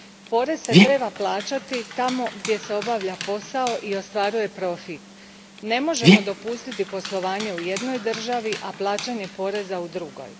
Porez se treba plaćati tamo gdje se obavlja posao i ostvaruje profit. Ne možemo dopustiti poslovanje u jednoj državi, a plaćanje poreza u drugoj.